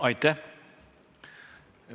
Aitäh!